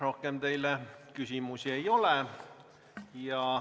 Rohkem teile küsimusi ei ole.